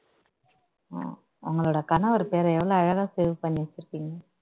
அஹ் உங்களோட கணவர் பெயரை எவளவு எவ்வளவு அழகா save பண்ணி வச்சிருக்கீங்க